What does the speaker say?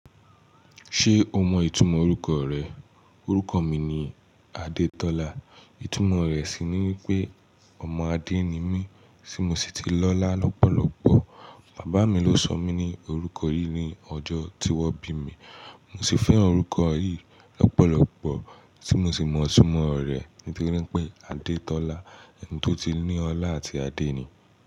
Ṣé o mọ ìtumọ̀ orúkọ rẹ? Orúkọ mi ni Adetola. Ìtumọ rẹ̀ sì ni wípé ọmọ Adé ni mí, tí mo sì ti lọ́lá lọ́pọ̀lọ́pọ̀. Bàbá mi ló sọ mí ní orúkọ yìí ní ọjọ́ tí wón bí mi. Mo sì fẹ́ orúkọ yìí lọ́pọ̀lọ́pọ̀, tí mo sì mọ ìtumọ rẹ̀ ní térí pé Adetola, ẹni tó ti ní ọlá àti adé ni.